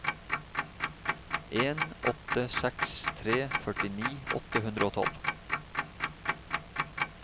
en åtte seks tre førtini åtte hundre og tolv